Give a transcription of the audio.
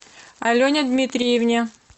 алене дмитриевне